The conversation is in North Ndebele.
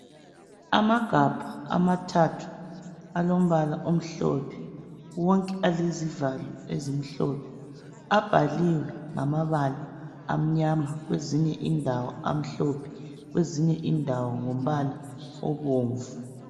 Amagabha amathathu alombala omhlophe, wonke alezivalo ezimhlophe abhaliwe ngamabala amnyama kwezinye indawo amhlophe kwezinye indawo ngombala obomvu.